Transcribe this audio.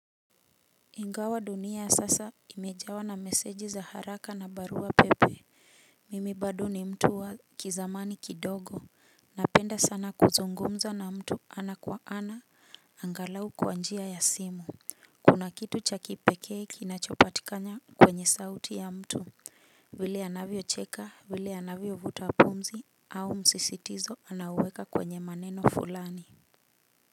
Ingawa dunia sasa imejawa na meseji za haraka na barua pepe, mimi bado ni mtu wa kizamani kidogo. Napenda sana kuzungumza na mtu ana kwa ana, angalau kwa njia ya simu. Kuna kitu cha kipekee kinachopatikana kwenye sauti ya mtu, vile anavyocheka, vile anavyovuta pumzi au msisitizo anaouweka kwenye maneno fulani.